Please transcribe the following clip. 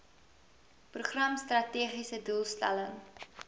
program strategiese doelstelling